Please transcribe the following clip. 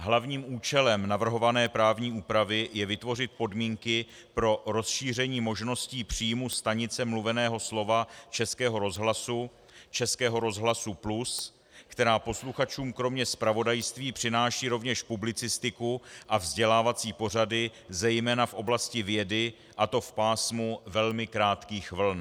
Hlavním účelem navrhované právní úpravy je vytvořit podmínky pro rozšíření možnosti příjmů stanice mluveného slova Českého rozhlasu Českého rozhlasu Plus, která posluchačům kromě zpravodajství přináší rovněž publicistiku a vzdělávací pořady zejména v oblasti vědy, a to v pásmu velmi krátkých vln.